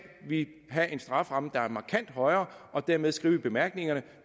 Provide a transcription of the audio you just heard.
vi have en straframme der er markant højere og dermed skrive i bemærkningerne